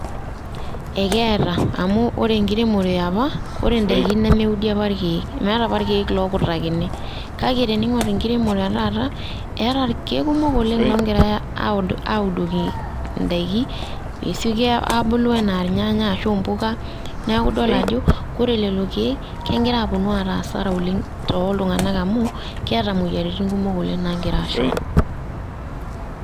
Ekeeta amu ore enkiremore eopa naa ore endaiki nemeudi apa irkiek, nemeetae apa irkiek ookutakini kake teniing'orr enkiremore etaata, eeta irkiek kumok oleng' oogirae audoki indaiki peesioki aabulu enaa irnyanya, ashu impuka neeku idol ajo ore lelo kiek, kegira aaponu aata asara oleng' tooltung'anak amu, keeta imoyiaritin kumok oleng' naagira aashoru.